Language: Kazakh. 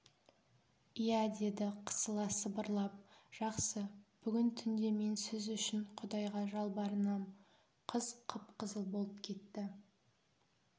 иә деді қысыла сыбырлап жақсы бүгін түнде мен сіз үшін құдайға жалбарынам қыз қып-қызыл болып кетті